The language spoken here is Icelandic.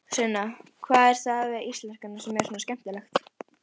Sunna: Hvað er það við íslenskuna sem er svona skemmtilegt?